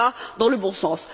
cela va dans le bon sens.